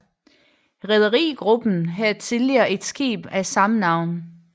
Rederigruppen havde tidligere et skib af samme navn